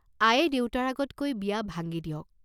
আয়ে দেউতাৰ আগত কৈ বিয়া ভাঙ্গি দিয়ক।